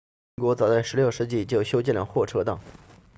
英国早在16世纪就修建了货车道